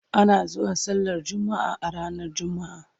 ana zuwa sallar jumma'a ranar jumma'a